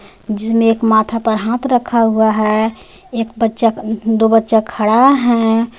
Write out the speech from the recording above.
जिसमें एक माथा पर हाथ रखा हुआ है एक बच्चा दो बच्चा खड़ा हैं.